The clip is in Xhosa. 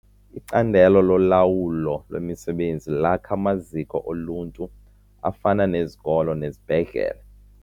Icandelo lolawulo lwemisebenzi lakha amaziko oluntu afana nezikolo nezibhedlele.